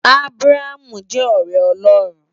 Abraham jè òrè Òlòrún